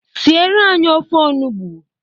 Siere anyị ofe onugbu!